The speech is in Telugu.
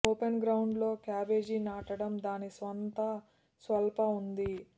ఓపెన్ గ్రౌండ్ లో క్యాబేజీ నాటడం దాని సొంత స్వల్ప ఉంది